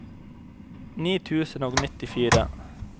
ni tusen og nittifire